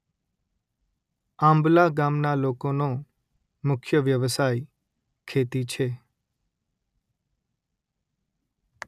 આંબલા ગામના લોકોનો મુખ્ય વ્યવસાય ખેતી છે